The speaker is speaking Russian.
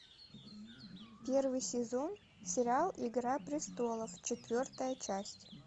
первый сезон сериал игра престолов четвертая часть